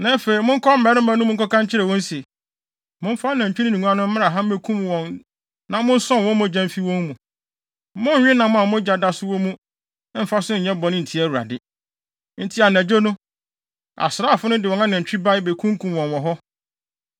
Na afei monkɔ mmarima no mu nkɔka nkyerɛ wɔn se, ‘Momfa anantwi no ne nguan no mmra ha mmekum wɔn na monsɔn wɔn mogya mfi wɔn mu. Monnnwe nam a mogya da so wɔ mu mmfa so nyɛ bɔne ntia Awurade.’ ” Enti anadwo no, asraafo no de wɔn anantwi bae, bekunkum wɔn wɔ hɔ.